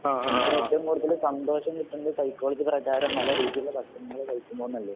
നമുക്ക് ഏറ്റവും കൂടുതൽ സന്തോഷം കിട്ടുന്നത് സൈക്കോളജി പ്രകാരം നല്ല രുചിയുള്ള ഭക്ഷണങ്ങൾ കഴിക്കുമ്പോഴല്ലേ?